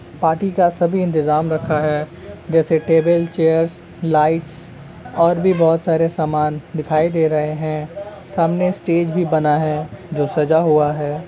Party का सभी इंतजाम रखा है। जैसे टेबल चेयर्स लाइट्स और भी बहोत सारे सामान दिखाई दे रहे हैं। सामने स्टेज भी बना है जो सजा हुआ है।